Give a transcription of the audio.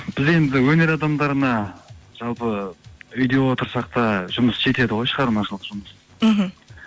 біз енді өнер адамдарына жалпы үйде отырсақ та жұмыс жетеді ғой шығармашылық жұмыс мхм